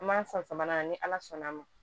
An m'an sɔn samana ni ala sɔnn'a ma